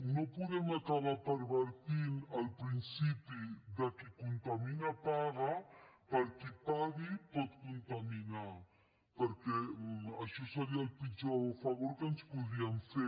no podem acabar pervertint el principi de qui contamina paga per qui pagui pot contaminar perquè això seria el pitjor favor que ens podríem fer